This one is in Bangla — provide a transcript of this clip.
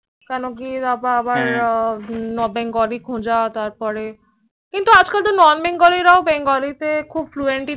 কেন কি তারপর আবার Bengali খোজা তারপরে কিন্তু আজ কাল Non Bengali রাও Bengali তে খুব Fluent